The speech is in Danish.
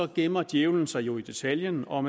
gemmer djævlen sig jo i detaljen og